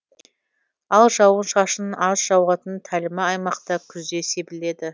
ал жауын шашын аз жауатын тәлімі аймақта күзде себіледі